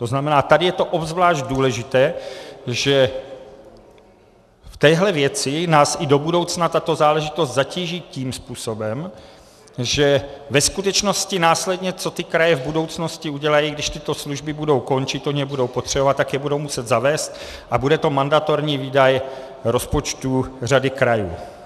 To znamená, tady je to obzvlášť důležité, že v téhle věci nás i do budoucna tato záležitost zatíží tím způsobem, že ve skutečnosti následně, co ty kraje v budoucnosti udělají, když tyto služby budou končit, ony je budou potřebovat, tak je budou muset zavést a bude to mandatorní výdaj rozpočtů řady krajů.